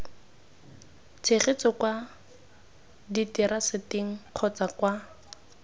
tshegetso kwa diteraseteng kgotsa kwa